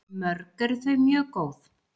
Mörg eru þau mjög góð.